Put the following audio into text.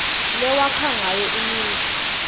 lewakha ngayo imisho